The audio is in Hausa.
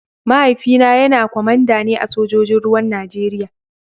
Mahaifina kwamanda ne a sojojin ruwan Najeriya.